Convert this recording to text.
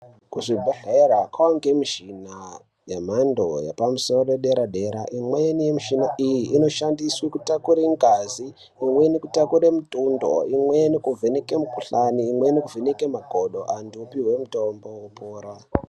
Kuzvibhedhlera kwane mishina yemhando yepamusoro dera dera imweni mishina iyi inoshandiswe kutakure ngazi imweni kutakure mutundo imweni kuvheneke mukuhlani imweni kuvheneke makodo antu opihwe mutombo opora.